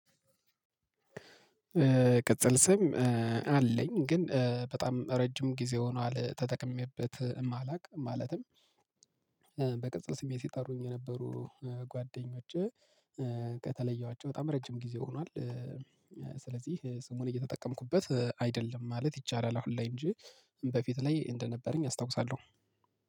ቅጽል ስም አለኝ ግን በጣም ረጅም ጊዜ ሆኗል ተጠቅሜበት አላውቅም ማለትም። በቅጽል ስሜ ሲጠሩኝ የነበሩ ጓደኞቼ ከተለየዋቸው በጣም ረጅም ጊዜ ሆኗል። ስለዚህ ስሙን እየተጠቀምኩበት አይደለም ማለት ይቻላል። አሁን ላይ እንጂ በፊት ላይ እንደነበረኝ አስታውሳለሁ።